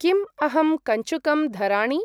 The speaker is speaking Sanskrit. किम् अहं कञ्चुकं धराणि?